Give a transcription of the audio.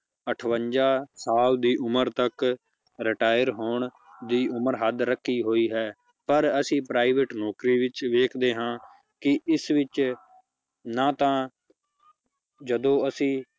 ਅਠਵੰਜਾ ਸਾਲ ਦੀ ਉੱਮਰ ਤੱਕ retire ਹੋਣ ਦੀ ਉਮਰ ਹੱਦ ਰੱਖੀ ਹੋਈ ਹੈ ਪਰ ਅਸੀਂ private ਨੌਕਰੀ ਵਿੱਚ ਵੇਖਦੇ ਹਾਂ ਕਿ ਇਸ ਵਿੱਚ ਨਾ ਤਾਂ ਜਦੋਂ ਅਸੀਂ